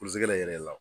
yɛrɛ la